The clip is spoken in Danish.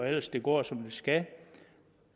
ellers går som det skal